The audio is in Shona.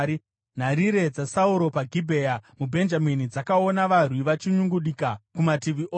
Nharirire dzaSauro paGibhea muBhenjamini dzakaona varwi vachinyungudika kumativi ose.